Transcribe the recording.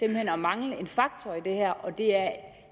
hen at mangle en faktor i det her og det er